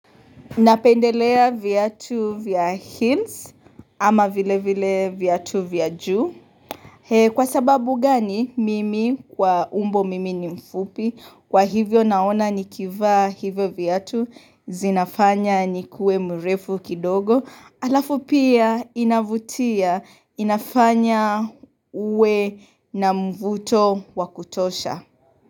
Napendelea viatu vya heals ama vile vile viatu vya juu. Kwa sababu gani mimi kwa umbo mimi ni mfupi kwa hivyo naona nikivaa hivyo viatu zinafanya nikue mrefu kidogo alafu pia inavutia inafanya uwe na mvuto wa kutosha.